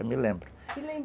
Eu me lembro